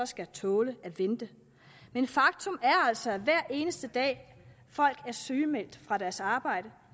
skal tåle at vente men faktum er altså at hver eneste dag folk er sygemeldt fra deres arbejde